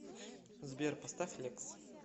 сбер поставь лекс